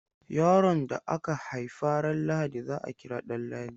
Yaron da aka haifa ran Lahadi za a kira Danladi.